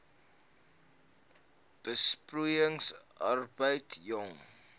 besproeiing arbeid jong